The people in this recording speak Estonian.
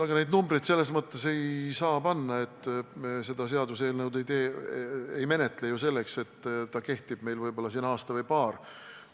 No neid numbreid selles mõttes ei saa panna, et me ei menetle seda seaduseelnõu ju selleks, et ta kehtiks meil siin võib-olla aasta või paar.